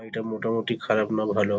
এটা মোটামুটি খারাপ না ভালো--